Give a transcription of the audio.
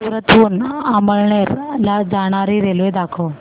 सूरत हून अमळनेर ला जाणारी रेल्वे दाखव